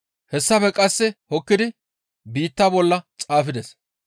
Hessafe qasseka hokkidi biitta bolla xaafides.